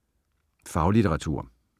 Faglitteratur